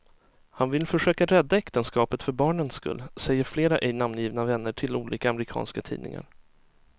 Han vill försöka rädda äktenskapet för barnens skull, säger flera ej namngivna vänner till olika amerikanska tidningar.